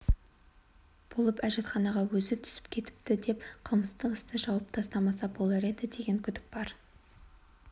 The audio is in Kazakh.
болып әжетханаға өзі түсіп кетіпті деп қылмыстық істі жауып тастамаса болар еді деген күдік бар